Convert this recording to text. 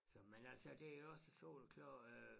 Men altså det jo ikke så soleklart øh